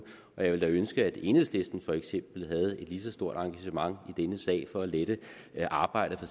jeg ville da ønske at enhedslisten havde et lige så stort engagement i denne sag for at lette arbejdet for